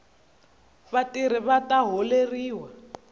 vatirhi vata holeriwa